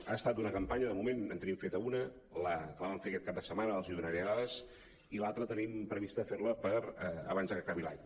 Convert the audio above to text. ha estat una campanya de moment en tenim feta una la que vam fer aquest cap de setmana ara els en donaré dades i l’altra tenim previst fer la abans de que acabi l’any